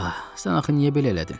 Ax, sən axı niyə belə elədin?